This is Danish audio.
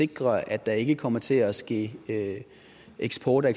sikre at der ikke kommer til at ske eksport af